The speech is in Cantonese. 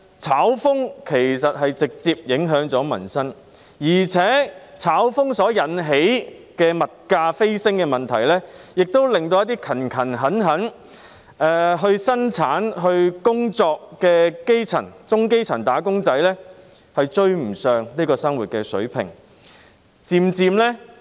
"炒"風其實直接影響民生，而且"炒"風引起物價飛升的問題，也導致一些勤懇生產和工作的基層和中基層"打工仔"追不上生活水平。